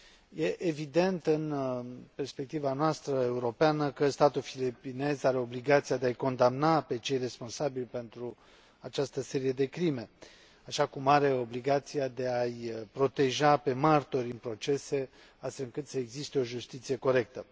Este evident, în perspectiva noastră europeană, că statul filipinez are obligația de a îi condamna pe cei responsabili pentru această serie de crime, așa cum are obligația de a îi proteja pe martori în procese, astfel încât să existe o justiție corectă.